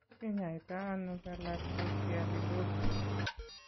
Tos kinyaita ano galactosialidosis?